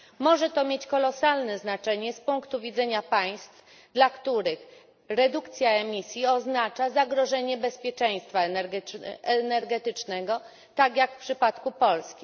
Może to mieć kolosalne znaczenie z punktu widzenia państw, dla których redukcja emisji oznacza zagrożenie bezpieczeństwa energetycznego, tak jak w przypadku Polski.